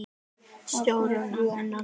Stjórna ennþá.